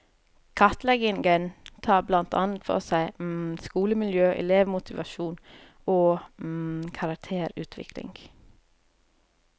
Kartleggingen tar blant annet for seg skolemiljø, elevmotivasjon og karakterutvikling.